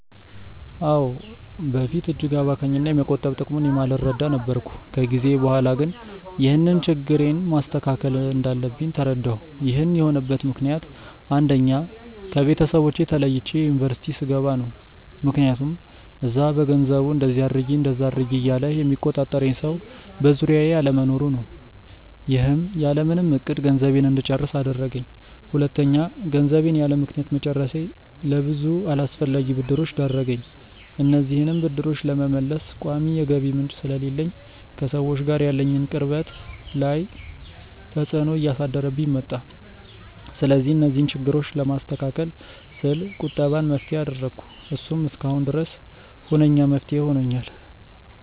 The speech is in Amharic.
አዎ። በፊት እጅግ አባካኝ እና የመቆጠብ ጥቅሙን የማልረዳ ነበርኩ። ከጊዜ በኋላ ግን ይህንን ችግሬን ማስተካከል እንዳለብኝ ተረዳሁ። ይህን የሆነበት ምክንያት አንደኛ: ከቤተሰቦቼ ተለይቼ ዩኒቨርስቲ ስገባ ነው። ምክያቱም እዛ በገንዘቡ እንደዚ አድርጊ እንደዛ አድርጊ እያለ የሚቆጣጠረኝ ሰው በዙሪያዬ አለመኖሩ ነው። ይህም ያለምንም እቅድ ገንዘቤን እንድጨርስ አደረገኝ። ሁለተኛ: ገንዘቤን ያለምክንያት መጨረሴ ለብዙ አላስፈላጊ ብድሮች ዳረገኝ። እነዚህንም ብድሮች ለመመለስ ቋሚ የገቢ ምንጭ ስለሌለኝ ከሰዎች ጋር ያለኝን ቅርበት ላይ ተፅዕኖ እያሳደረብኝ መጣ። ስለዚህ እነዚህን ችግሮች ለማስተካከል ስል ቁጠባን መፍትሄ አደረኩ። እሱም እስካሁን ድረስ ሁነኛ መፍትሄ ሆኖኛል።